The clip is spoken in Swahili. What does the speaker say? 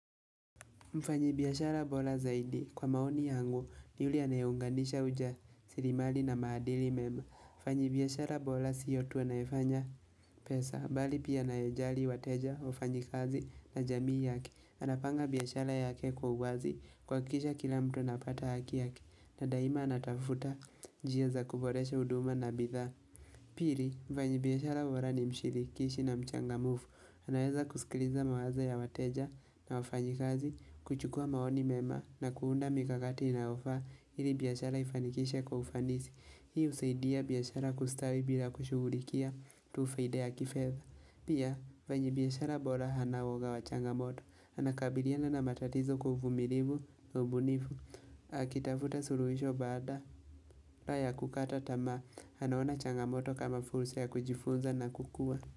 Mfanyabiashara bora zaidi kwa maoni yangu ni yule anayeunganisha ujasiriamali na maadili mema. Mfanyabiashara bora siyo tu anayefanya pesa. Bali pia anayejali wateja, wafanyakazi na jamii yake Anapanga biashara yake kwa uwazi kwakisha kila mtu napata haki yake. Na daima anatafuta njia za kuboresha uduma na bidhaa. Pili, mfanyi biashara uwarani mshirikishi na mchangamufu. Anaweza kusikiliza mawazo ya wateja na wafanyikazi, kuchukua maoni mema na kuunda mikakati inayofaa ili biashara ifanikishwe kwa ufanisi. Hii usaidia biashara kustawi bila kushugulikia tu faida ya kifedha. Pia, vanyi biashara bora hana woga wa changamoto. Anakabiriana na matatizo kwa uvumilivu, kwa ubunivu. Akitafuta suruhisho baadala ya kukata tamaa, anaona changamoto kama fulsa ya kujifunza na kukua.